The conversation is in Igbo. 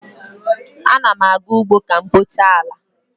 Ana m aga ugbo ka m kpochaa ala